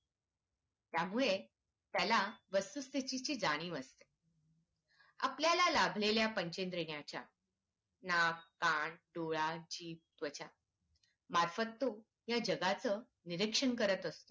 त्यामुळे त्त्याला वस्तुस्थितीची जाणीव असते आपल्याला लाभलेल्या पंचेंद्रियांच्या नाक कां डोळा जीभ, त्वचा मार्फत तो या जगा चं निरीक्षण करत असतो.